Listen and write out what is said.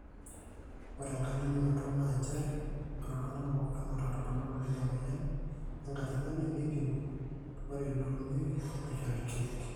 ore enkai limunoto naa njere ore iltung'anak pooki oota irbulabul leina mweyian enkajang'ani neipimi ore ilootumieki neishori irkeek.